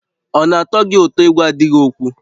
Ọ na-atọ gị ụtọ ịgwa di gị okwu?